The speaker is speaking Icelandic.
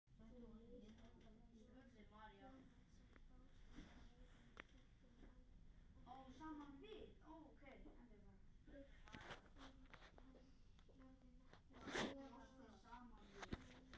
Góða ferð, elsku vinur.